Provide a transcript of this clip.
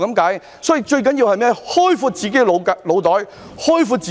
因此，最重要的是開闊自己的腦袋和空間。